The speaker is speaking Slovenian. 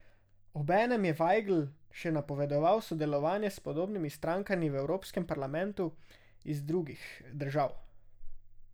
Obenem je Vajgl še napovedal sodelovanje s podobnimi strankami v Evropskem parlamentu iz drugih držav.